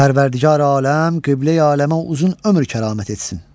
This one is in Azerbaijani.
Pərvərdigari-aləm, Qibləyi-aləmə uzun ömür kəramət etsin.